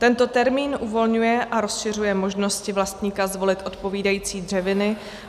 Tento termín uvolňuje a rozšiřuje možnosti vlastníka zvolit odpovídající dřeviny.